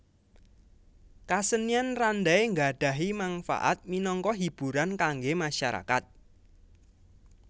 Kasenian Randai nggadhahi mangfaat minangka hiburan kanggé masyarakat